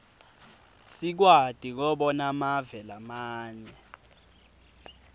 sikwati kobona mave lamanye